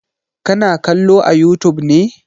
Ka na kallo a youtube ne?